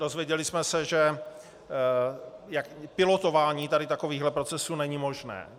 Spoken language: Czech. Dozvěděli jsme se, že pilotování tady takových procesů není možné.